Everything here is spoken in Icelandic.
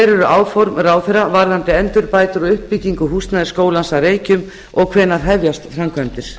eru áform ráðherra varðandi endurbætur og uppbyggingu húsnæðis skólans að reykjum og hvenær hefjast framkvæmdir